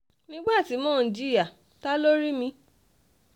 nígbà tí mò ń jìyà ta ló rí mi